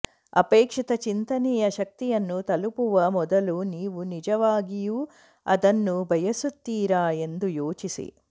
ಅಪೇಕ್ಷಿತ ಚಿಂತನೆಯ ಶಕ್ತಿಯನ್ನು ತಲುಪುವ ಮೊದಲು ನೀವು ನಿಜವಾಗಿಯೂ ಅದನ್ನು ಬಯಸುತ್ತೀರಾ ಎಂದು ಯೋಚಿಸಿ